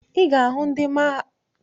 Ị ga-ahụ ndị bọọsa na mahadum.